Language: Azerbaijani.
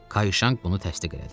Kayşang bunu təsdiq elədi.